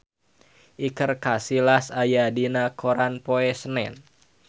Iker Casillas aya dina koran poe Senen